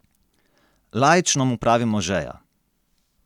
Laično mu pravimo žeja.